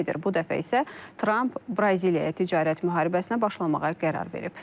Bu dəfə isə Tramp Braziliyaya ticarət müharibəsinə başlamağa qərar verib.